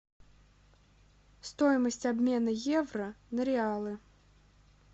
стоимость обмена евро на реалы